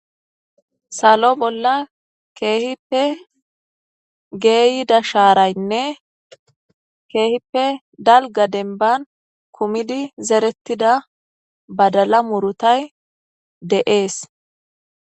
salo bolla keehippe geeyida shaaraynne keehippe dalga denban kumidi zerettida badala murutay de7ees